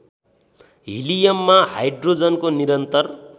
हिलियममा हाइड्रोजनको निरन्तर